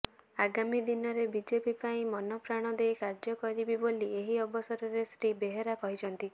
ଆଗାମୀ ଦିନରେ ବିଜେପି ପାଇଁ ମନପ୍ରାଣ ଦେଇ କାର୍ଯ୍ୟ କରିବି ବୋଲି ଏହି ଅବସରରେ ଶ୍ରୀ ବେହେରା କହିଛନ୍ତି